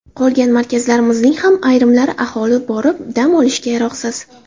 Qolgan markazlarimizning ham ayrimlari aholi borib, dam olishiga yaroqsiz.